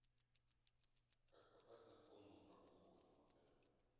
как попасть на конную прогулку в этом отеле